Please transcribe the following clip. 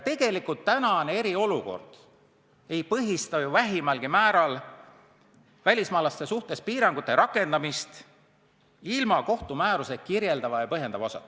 Tegelikult ei põhista ju tänane eriolukord vähimalgi määral välismaalaste suhtes piirangute rakendamist ilma kohtumääruse kirjeldava ja põhjendava osata.